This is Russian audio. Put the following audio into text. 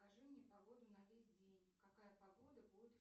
покажи мне погоду на весь день какая погода будет